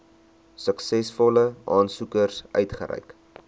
suksesvolle aansoekers uitgereik